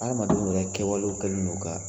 Adamadenw yɛrɛ kɛwalew kɛlen don ka